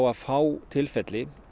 að fá tilfelli